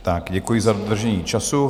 Tak děkuji za dodržení času.